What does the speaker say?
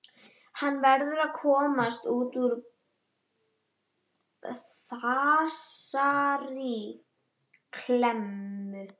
Hann verður að komast út úr þessari klemmu.